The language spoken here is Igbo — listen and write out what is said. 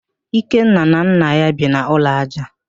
Ikenna na nna ya bi n'ụlọ ájá